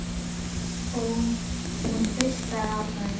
Og hún hlustar á þær.